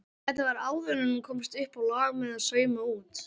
Þetta var áður en hún komst uppá lag með að sauma út.